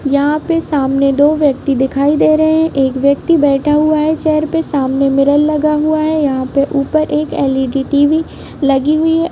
यहाँ पे सामने दो व्यक्ति दिखाई दे रहे एक व्यक्ति बैठा हुआ हैं चेयर पे सामने मिरर लगा हुआ हैं यहाँ पे ऊपर एक एलइडी टीवि लगी हुई हैं।